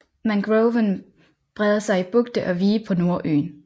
Mangroven breder sig i bugte og vige på Nordøen